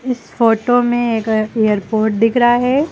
इस फोटो में एक एयरपोर्ट दिख रहा है।